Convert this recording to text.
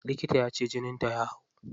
Likita yace jinin ta ya hau.